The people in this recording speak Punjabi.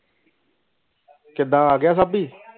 ਕਿਧ ਆਗਿਆ ਸਭਿ